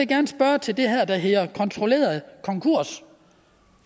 gerne spørge til det her der hedder kontrolleret konkurs